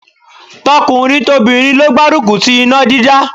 Tọkùnrin tobìnrin ló gbárùkù ti iná dídá.